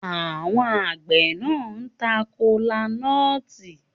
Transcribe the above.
Àwọn àgbẹ̀ náà ta kola nut